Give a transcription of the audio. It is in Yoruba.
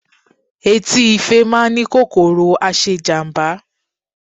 Etí ife má a ni kòkòrò aṣe ijamba